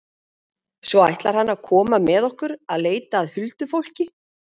Svo ætlar hann að koma með okkur að leita að huldufólki.